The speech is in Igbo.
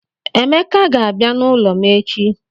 Emeka ga-abia n'ulo m echi